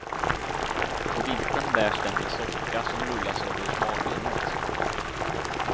På vintern bärs den med socka, som rullas över smalbenet.